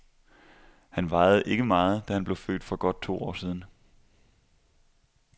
Han vejede ikke meget, da han blev født for godt to år siden.